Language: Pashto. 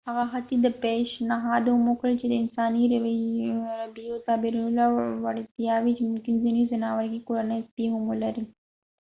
هغه حتی دا پیشنهاد هم وکړ چې د انساني رویيو تعبیرولو وړتیاوې ممکن ځینې ځناور لکه کورني سپي هم ولري